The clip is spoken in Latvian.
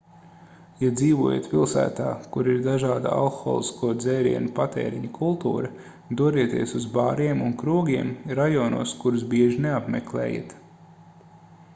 ja dzīvojat pilsētā kur ir dažāda alkoholisko dzērienu patēriņa kultūra dodieties uz bāriem un krogiem rajonos kurus bieži neapmeklējat